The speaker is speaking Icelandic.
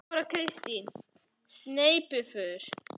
Þóra Kristín: Sneypuför?